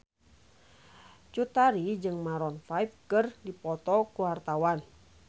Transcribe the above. Cut Tari jeung Maroon 5 keur dipoto ku wartawan